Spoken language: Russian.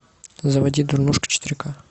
заводи дурнушка четыре к